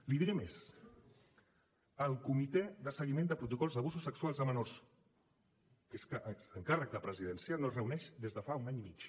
li diré més el comitè de seguiment de protocols d’abusos sexuals a menors que és que és encàrrec de presidència no es reuneix des de fa un any i mig